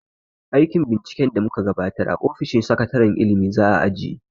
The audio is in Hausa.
Aikin binciken da mu ka gabatar a ofishin sakataren ilimi za a ajiye.